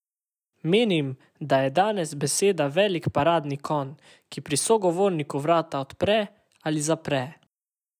Menim, da je danes beseda velik paradni konj, ki pri sogovorniku vrata odpre ali zapre.